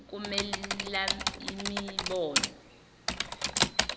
ukumelaimibono